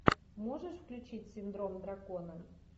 можешь включить синдром дракона